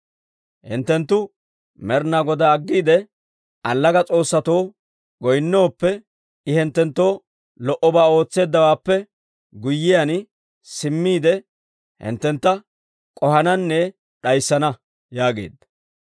Hinttenttu Med'ina Godaa aggiide, allaga s'oossatoo goynnooppe, I hinttenttoo lo"obaa ootseeddawaappe guyyiyaan, simmiide hinttentta k'ohananne d'ayssana» yaageedda.